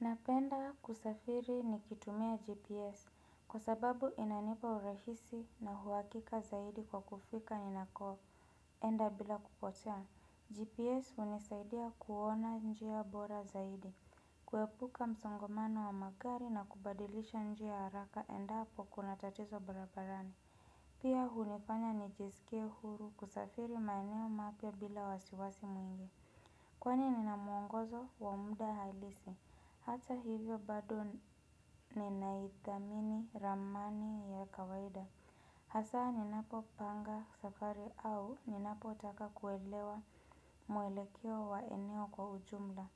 Napenda kusafiri nikitumia GPS kwa sababu inanipa urahisi na huwakika zaidi kwa kufika ni nako enda bila kupotea. GPS hunisaidia kuona njia bora zaidi kuepuka msongamano wa magari na kubadilisha njia haraka endapo kuna tatizo barabarani. Pia hunifanya nijisikie huru kusafiri maeneo mapya bila wasiwasi mwingi. Kwani ninamuongozo wamuda halisi. Hata hivyo bado ninaithamini ramani ya kawaida. Hasa ninapo panga safari au ninapo taka kuelewa mwelekeo wa eneo kwa ujumla.